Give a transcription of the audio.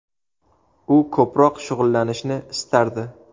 U ko‘proq shug‘ullanishni istardi.